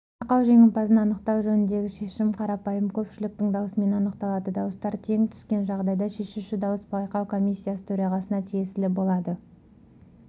байқау жеңімпазын анықтау жөніндегі шешім қарапайым көпшіліктің дауысымен анықталады дауыстар тең түскен жағдайда шешуші дауыс байқау комиссиясы төрағасына тиесілі болады